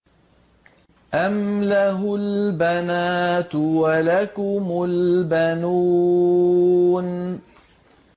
أَمْ لَهُ الْبَنَاتُ وَلَكُمُ الْبَنُونَ